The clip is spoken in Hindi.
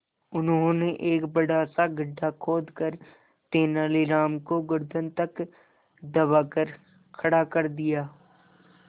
उन्होंने एक बड़ा सा गड्ढा खोदकर तेलानी राम को गर्दन तक दबाकर खड़ा कर दिया